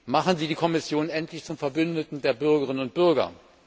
Machen Sie die Kommission endlich zum Verbündeten der Bürgerinnen und Bürger!